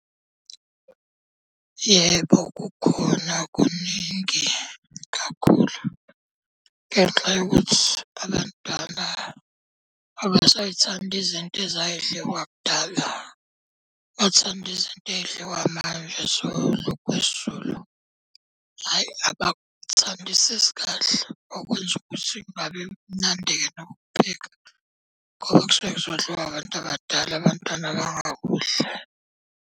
Yebo kukhona kuningi kakhulu. Ngenxa yokuthi abadala abasay'thandi izinto ezay'dliwa kudala, bathanda izinto ey'dliwa manje zokudla kwesiZulu. Hhayi abakuthandisisi kahle okwenza ukuthi kungabi mnandi-ke nokukupheka, ngoba kusuke kuzodliwa abantu abadala abantwana bangakudli.